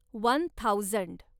one thousand